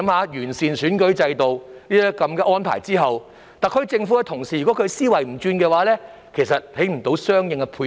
在完善選舉制度的安排後，如果特區政府的思維不變，便無法作出相應的配合。